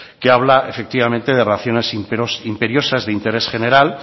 que habla efectivamente de razones imperiosas de interés general